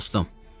Dostum.